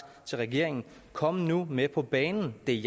til regeringen kom nu med på banen det